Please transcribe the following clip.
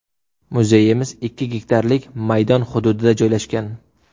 Muzeyimiz ikki gektarlik maydon hududida joylashgan.